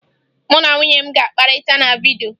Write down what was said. Mụ na nwunye m ga-akpakọrịta na vidyo